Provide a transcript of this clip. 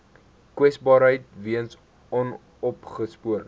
kwesbaarheid weens onopgespoorde